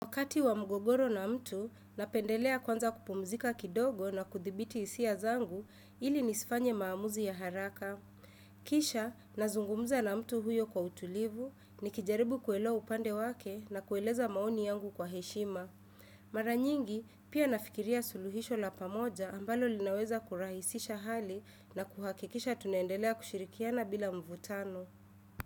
Wakati wa mgogoro na mtu, napendelea kwanza kupumzika kidogo na kuthibiti isia zangu ili nisifanye maamuzi ya haraka. Kisha, nazungumuza na mtu huyo kwa utulivu, nikijaribu kuelewa upande wake na kueleza maoni yangu kwa heshima. Mara nyingi, pia nafikiria suluhisho la pamoja ambalo linaweza kurahisisha hali na kuhakikisha tunaendelea kushirikiana bila mvutano.